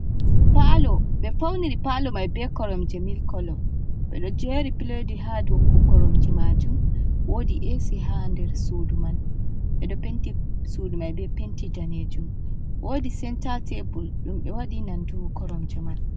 "Palo" ɓe fauniri palo mai be koromje milik kolo ɓeɗo jeri piledji haa dow koromje majum woodi esi ha nder sudu man ɓeɗo penti sudu mai be penti danejum woodi senta tabul ɗum ɓe waɗi nandu koromje man.